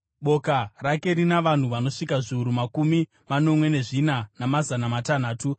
Boka rake rina vanhu vanosvika zviuru makumi manomwe nezvina, namazana matanhatu.